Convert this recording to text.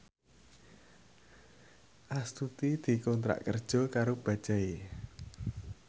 Astuti dikontrak kerja karo Bajaj